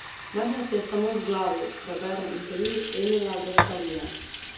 Majhnost je samo v glavi, preberem intervju Emila Gasparija.